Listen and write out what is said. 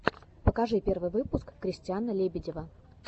покажи первый выпуск кристиана лебедева